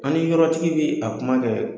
An ni yɔrɔtigi bɛ a kuma kɛ,